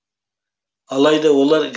алайда олар газетке бірден жарияланбайды